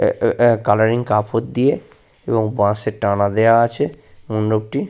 আহ আহ আ কালারিং কাপড় দিয়ে এবং বাঁশের টানা দেওয়া আছে মণ্ডপটি।